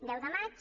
deu de maig